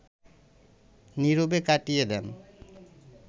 নীরবে কাটিয়ে দেন